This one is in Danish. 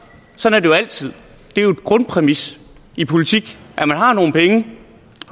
sådan jo altid det er jo en grundpræmis i politik at man har nogle vælge